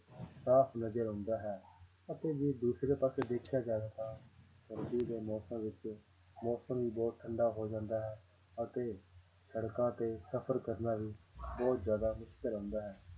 ਸਾਫ਼ ਨਜ਼ਰ ਆਉਂਦਾ ਹੈ ਅਤੇ ਜੇ ਦੂਸਰੇ ਪਾਸੇ ਦੇਖਿਆ ਜਾਵੇ ਤਾਂ ਸਰਦੀ ਦੇ ਮੌਸਮ ਵਿੱਚ ਮੌਸਮ ਵੀ ਬਹੁਤ ਠੰਢਾ ਹੋ ਜਾਂਦਾ ਹੈ ਅਤੇ ਸੜਕਾਂ ਤੇ ਸਫ਼ਰ ਕਰਨਾ ਵੀ ਬਹੁਤ ਜ਼ਿਆਦਾ ਮੁਸ਼ਕਲ ਹੁੰਦਾ ਹੈ